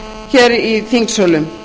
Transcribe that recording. hér í þingsölum